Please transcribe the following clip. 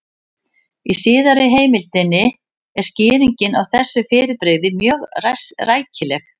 Í síðari heimildinni er skýringin á þessu fyrirbrigði mjög rækileg: